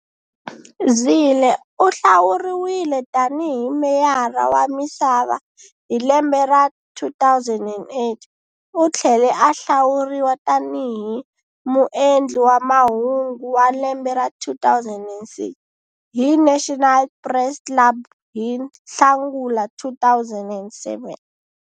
Zille u hlawuriwile tanihi hi Meyara wa Misava hi lembe ra 2008. U tlhele a hlawuriwa tanihi muendli wa mahungu wa lembe ra 2006 hi National Press Club hi Nhlangula 2007.